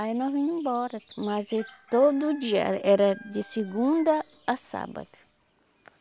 Aí nós ia embora, mas ia todo dia, era de segunda a sábado.